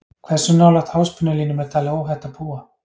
Hversu nálægt háspennulínum er talið óhætt að búa?